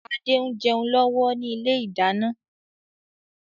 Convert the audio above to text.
Adé ń jẹun lọ́wọ́ ni ilé ìdáná.